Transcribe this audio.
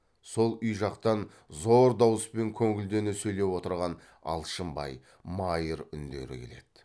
сол үй жақтан зор дауыспен көңілдене сөйлеп отырған алшынбай майыр үндері келеді